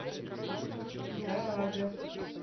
гаага